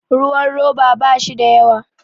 ruwan roba ba shi da yawa